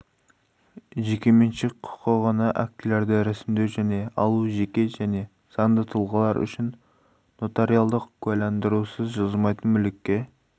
жекеменшік құқығына актілерді ресімдеу және алу жеке және заңды тұлғалар үшін нотариалды куәландырусыз жылжымайтын мүлікке